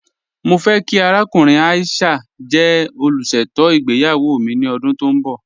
Mọ fẹ̀ kí àràkùnrìn Aisha jẹ́ olúṣetò ìgbéyàwó mi ni ọdún tó nbọ̀.